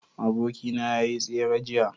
abokina ya yi tsere jiya